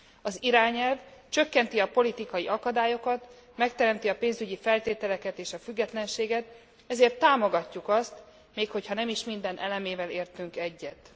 Az irányelv csökkenti a politikai akadályokat, megteremti a pénzügyi feltételeket és a függetlenséget, ezért támogatjuk azt, még hogyha nem is minden elemével értünk egyet.